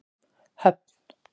Höfn